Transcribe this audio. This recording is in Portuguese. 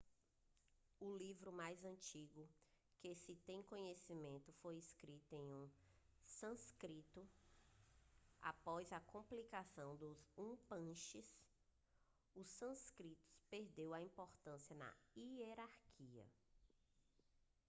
o livro mais antigo de que se tem conhecimento foi escrito em sânscrito após a compilação dos upanixades o sânscrito perdeu a importância na hierarquia